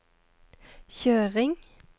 kjøring